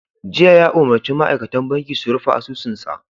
Jiya ya umarci ma'aikatan banki su 'Rufe asusunsa!